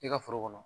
I ka foro kɔnɔ